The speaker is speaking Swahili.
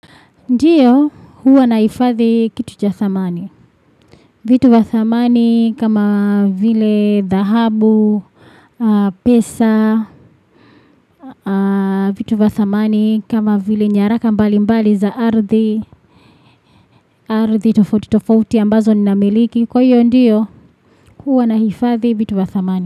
Ndio, huwa nahifadhi kitu cha dhamani. Vitu vya dhamani kama vile dhahabu, pesa, vitu vya dhamani kama vile nyaraka mbali mbali za ardhi, ardhi tofauti tofauti ambazo ni namiliki. Kwa hiyo ndio, huwa nahifadhi vitu vya dhamani.